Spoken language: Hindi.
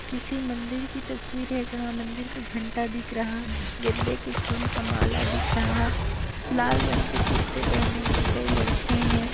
किसी मंदिर की तस्वीर है जहाँ मंदिर का घंटा दिख रहा गेंदे के फुल का माला दिख रहा लाल रंग के कुर्ते पहने हुए कई लड़के हैं।